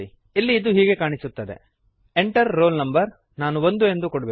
ಇಲ್ಲಿ ಅದು ಹೀಗೆ ಕಾಣಿಸುತ್ತದೆ Enter ರೋಲ್ no ನಾನು 1 ಎಂದು ಕೊಡುವೆನು